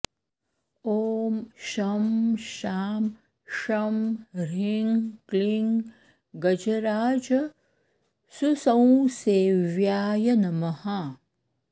ॐ शं शां षं ह्रीं क्लीं गजराजसुसंसेव्याय नमः